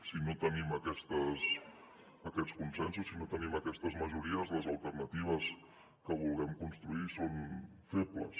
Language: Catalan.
si no tenim aquests consensos si no tenim aquestes majories les alternatives que vulguem construir són febles